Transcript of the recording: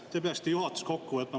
Kuulge, te peaksite juhatuse kokku võtma.